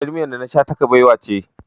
Jar miyar da na sha ta kabewa ce.